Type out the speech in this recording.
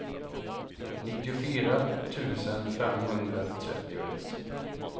nittiofyra tusen femhundratrettioett